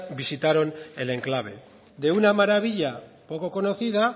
visitaron el enclave de una maravilla poco conocida